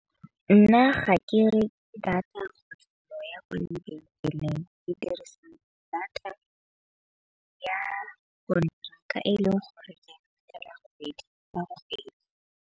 Nna ga ke ke dirisa data ya ka e leng gore .